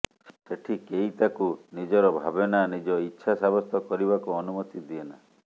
ସେଠି କେହି ତାକୁ ନିଜର ଭାବେନା ନିଜ ଇଚ୍ଛା ସାବ୍ୟସ୍ତ କରିବାକୁ ଅନୁମତି ଦିଏନା